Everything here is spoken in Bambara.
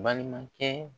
Balimakɛ